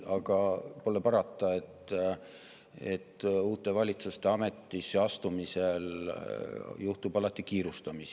Aga pole parata, uue valitsuse ametisse astumisel juhtub alati kiirustamist.